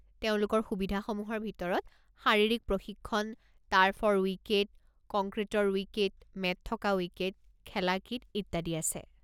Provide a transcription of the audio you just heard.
তেওঁলোকৰ সুবিধাসমূহৰ ভিতৰত শাৰীৰিক প্ৰশিক্ষণ, টাৰ্ফৰ উইকেট, কংক্ৰিটৰ উইকেট, মেট থকা উইকেট, খেলা কিট ইত্যাদি আছে।